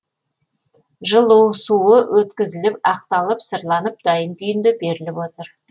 жылу суы өткізіліп ақталып сырланып дайын күйінде беріліп отыр